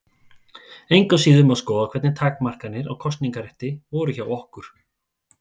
Engu að síður má skoða hvernig takmarkanir á kosningarétti voru hjá okkur.